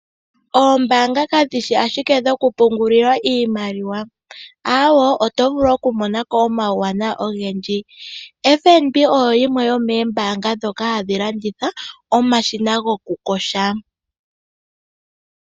Oombaanga kadhishi ashike dhoku pungulilwa iimaliwa, aawo otovulu wo okumonako omawuwanawa ogendji. FNB oyo yimwe yomembaanga hayi landitha omashina goku koha.